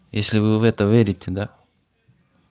если вы в это верите да